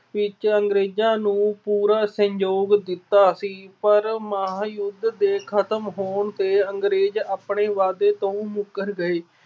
ਵਿੱਚ ਅੰਗਰੇਜਾਂ ਨੂੰ ਪੂਰਾ ਸਹਿਯੋਗ ਦਿੱਤਾ ਸੀ ਪਰ ਮਹਾਂਯੁਧ ਦੇ ਖਤਮ ਹੋਣ ਤੇ ਅੰਗਰੇਜ ਆਪਣੇ ਵਾਅਦੇ ਤੋਂ ਮੁੱਕਰ ਗਏ।